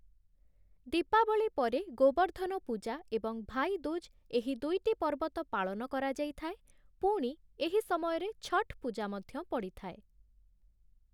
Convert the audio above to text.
ଦୀପାବଳି ପରେ ଗୋବର୍ଦ୍ଧନ ପୂଜା ଏବଂ ଭାଇ ଦୁଜ୍ ଏହି ଦୁଇଟି ପର୍ବ ତ ପାଳନ କରାଯାଇ ଥାଏ, ପୁଣି, ଏହି ସମୟରେ ଛଠ୍‌ ପୂଜା ମଧ୍ୟ ପଡ଼ିଥାଏ ।